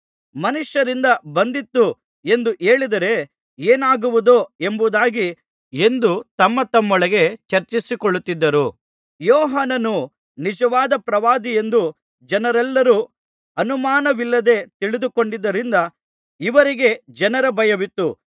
ಮನುಷ್ಯರಿಂದ ಬಂದಿತು ಎಂದು ಹೇಳಿದರೆ ಏನಾಗುವುದೋ ಎಂಬುದಾಗಿ ಎಂದು ತಮ್ಮತಮ್ಮೊಳಗೆ ಚರ್ಚಿಸಿಕೊಳ್ಳುತ್ತಿದ್ದರು ಯೋಹಾನನು ನಿಜವಾದ ಪ್ರವಾದಿಯೆಂದು ಜನರೆಲ್ಲರೂ ಅನುಮಾನವಿಲ್ಲದೆ ತಿಳಿದುಕೊಂಡಿದ್ದರಿಂದ ಇವರಿಗೆ ಜನರ ಭಯವಿತ್ತು